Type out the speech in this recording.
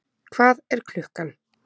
Hvað er klukkan?